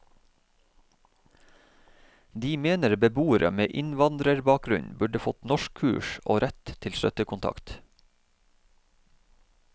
De mener beboere med innvandrerbakgrunn burde fått norskkurs og rett til støttekontakt.